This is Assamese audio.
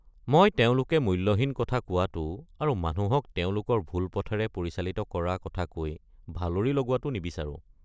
মই তেওঁলোকে মূল্যহীন কথা কোৱাটো আৰু মানুহক তেওঁলোকৰ ভুল পথেৰে পৰিচালিত কৰা কথা কৈ ভালৰি লগোৱাটো নিবিচাৰোঁ।